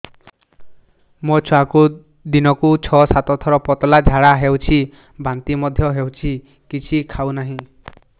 ମୋ ଛୁଆକୁ ଦିନକୁ ଛ ସାତ ଥର ପତଳା ଝାଡ଼ା ହେଉଛି ବାନ୍ତି ମଧ୍ୟ ହେଉଛି କିଛି ଖାଉ ନାହିଁ